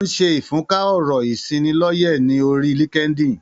Ó ń ṣe ìfúnká ọ̀rọ̀-ìṣị́nilọ́yẹ̀ ní orí LinkedIn.